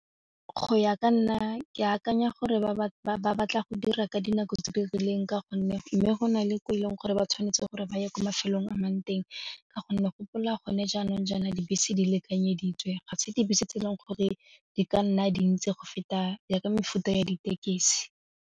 Go ya ka nna ke akanya gore ba batla go dira ka dinako tse di rileng ka gonne mme go na le ko eleng gore ba tshwanetse gore ba ye kwa mafelong a mang teng ka gonne gopola gone jaanong jaana dibese di lekanyeditswe ga se dibese tse e leng gore di ka nna dintsi go feta ya ka mefuta ya ditekesi.